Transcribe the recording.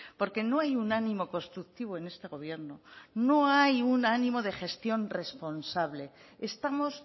porque no hay un ánimo constructivo en este gobierno no hay un ánimo de gestión responsable estamos